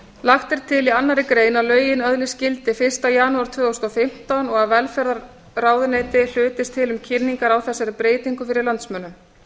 lagt er til í annarri grein að lögin öðlist gildi fyrsta janúar tvö þúsund og fimmtán og að velferðarráðuneyti hlutist til um kynningar á þessari breytingu fyrir landsmönnum